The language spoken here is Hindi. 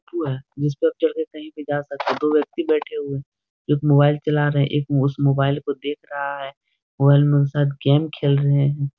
उ है। जिस पर चढ़ कर कही भी जा सकते हैं। दो व्यक्ति बैठे हुए हैं। एक मोबाइल चला रहे हैं | एक उस मोबाइल को देख रहा है| मोबाइल में वो शायद गेम खेल रहे हैं।